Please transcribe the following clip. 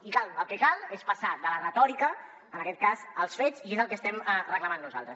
i el que cal és passar de la retòrica en aquest cas als fets i és el que estem reclamant nosaltres